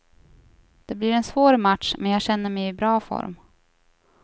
Det blir en svår match men jag känner mig i bra form.